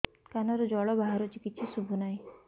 କାନରୁ ଜଳ ବାହାରୁଛି କିଛି ଶୁଭୁ ନାହିଁ